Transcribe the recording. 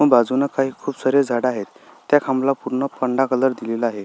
बाजुन खुप सारी झाड आहेत त्या खांबला पूर्ण पांढरा कलर दिलेला आहे.